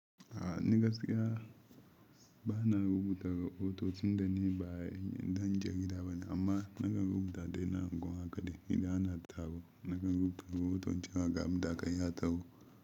A'a ni gaskiya ba na rubuta rahoton tun dani ba idan jarida bane amma na kan rubuta dai na unguwa kaɗai idan ana taro. Na kan rubuta rahoton cewa ga abun da aka yi a taro.